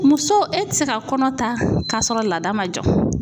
Muso e ti se ka kɔnɔ ta kasɔrɔ lada ma jɔ.